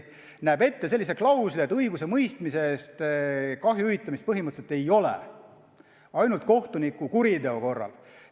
Selles seaduses on klausel, et õigusemõistmise korral tekkinud kahju hüvitamist põhimõtteliselt ei ole, on ainult kohtuniku kuriteo korral.